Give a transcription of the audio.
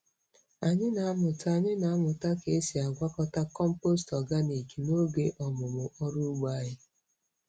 Anyị na-amụta Anyị na-amụta ka esi agwakọta compost organic n'oge ọmụmụ ọrụ ugbo anyị.